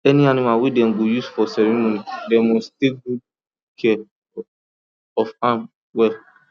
any animal wey dem go use for ceremony dem must take good care of am well